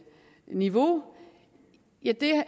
niveau